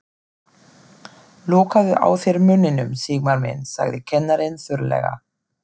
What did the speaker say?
Lokaðu á þér munninum, Sigmar minn sagði kennarinn þurrlega.